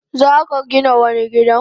Zaka Gina wani gidan?